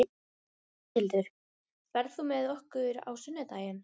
Matthildur, ferð þú með okkur á sunnudaginn?